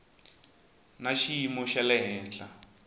na xiyimo xa le henhla